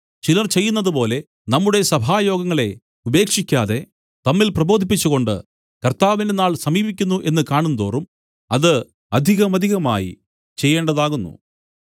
ചിലർ ചെയ്യുന്നതുപോലെ നമ്മുടെ സഭായോഗങ്ങളെ ഉപേക്ഷിക്കാതെ തമ്മിൽ പ്രബോധിപ്പിച്ചുകൊണ്ട് കർത്താവിന്റെ നാൾ സമീപിക്കുന്നു എന്നു കാണും തോറും അത് അധികമധികമായി ചെയ്യേണ്ടതാകുന്നു